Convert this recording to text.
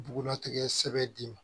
Bugulatigɛ sɛbɛn d'i ma